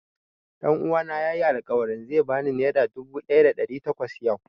Ɗan uwana ya yi alƙawarin zai ba ni nera dubu ɗaya da ɗari takwas yau